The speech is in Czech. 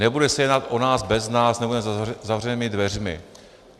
Nebude se jednat o nás bez nás nebo za zavřenými dveřmi.